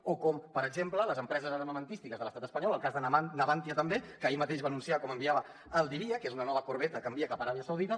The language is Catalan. o com per exemple les empreses armamentístiques de l’estat espanyol el cas de navantia també que ahir mateix va anunciar com enviava al diriyah que és una nova corbeta que envia cap a aràbia saudita